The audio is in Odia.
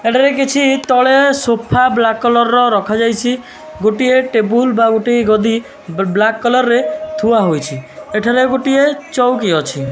ଏଠାରେ କିଛି ତଳେ ସୋଫା ବ୍ଳାକ କଲର ର ରଖାଯାଇଛି ଗୋଟିଏ ଟେବୁଲବା ବା ଗୋଟିଏ ଗଦି ବ୍ଳାକ କଲରରେ ଥୁଆହେଇଛି ଏଠାରେ ଗୋଟିଏ ଚଉକି ଅଛି।